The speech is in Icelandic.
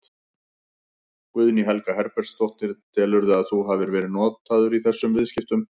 Guðný Helga Herbertsdóttir: Telurðu að þú hafi verið notaður í þessum viðskiptum?